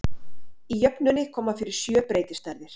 Í jöfnunni koma fyrir sjö breytistærðir.